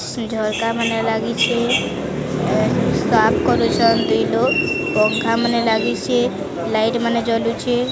ସେ ଝର୍କା ମାନେ ଲାଗିଛେଳଛି ଏ ସାଫ୍ କରୁଛନ୍ ଦୁଇ ଲୋଗ୍ ପଘା ମାନେ ଲାଗିଛି ଲାଇଟ୍ ମାନେ ଜଲୁଛି।